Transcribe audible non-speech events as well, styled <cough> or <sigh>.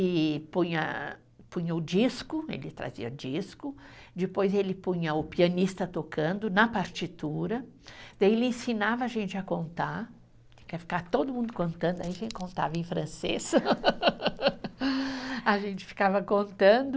E punha, punha o disco, ele trazia disco, depois ele punha o pianista tocando na partitura, daí ele ensinava a gente a contar, tinha que ficar todo mundo contando, aí a gente contava em francês, <laughs> a gente ficava contando.